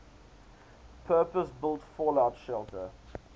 purpose built fallout shelter